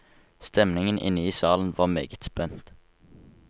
Stemningen inne i salen var meget spent.